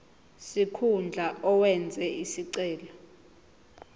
sikhundla owenze isicelo